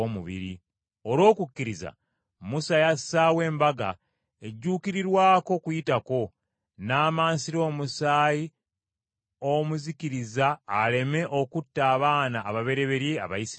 Olw’okukkiriza Musa yassaawo Embaga ejjuukirirwako Okuyitako, n’amansira omusaayi omuzikiriza aleme okutta abaana ababereberye Abayisirayiri.